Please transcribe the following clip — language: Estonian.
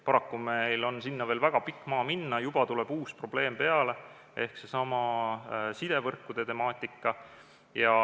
Paraku on sinna veel väga pikk maa minna ja juba tuleb peale uus probleem ehk seesama sidevõrkude temaatika.